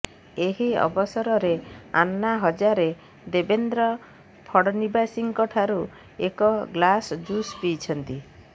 ଏହି ଅବସରରେ ଆନ୍ନା ହଜାରେ ଦେବେନ୍ଦ୍ର ଫଡ଼ନିବୀସଙ୍କ ଠାରୁ ଏକ ଗ୍ଲାସ ଜୁସ ପିଇଛନ୍ତି